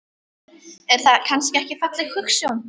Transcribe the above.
Er það kannski ekki falleg hugsjón?